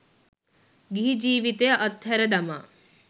ගිහි ජීවිතය අත්හැර දමා